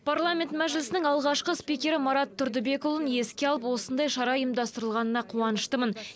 парламент мәжілісінің алғашқы спикері марат тұрдыбекұлын еске алып осындай шара ұйымдастырылғанына қуаныштымын